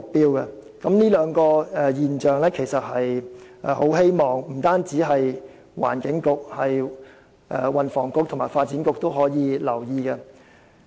對於上述兩個現象，希望不僅是環境局，運輸及房屋局和發展局也可加以留意。